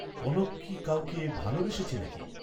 কনক কি কাউকে ভালবেসেছে নাকি?